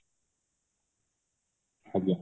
ଆଜ୍ଞା